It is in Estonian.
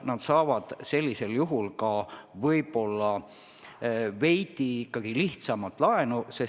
Nad saavad sellisel juhul ehk ka veidi lihtsamalt laenu.